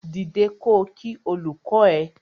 Dìde ko kí olùkọ ẹ!